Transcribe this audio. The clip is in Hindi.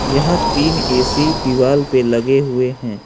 यहां तीन ए_सी दीवाल पे लगे हुए हैं।